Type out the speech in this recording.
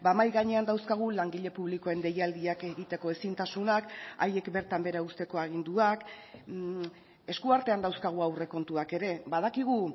mahai gainean dauzkagu langile publikoen deialdiak egiteko ezintasunak haiek bertan behera uzteko aginduak esku artean dauzkagu aurrekontuak ere badakigu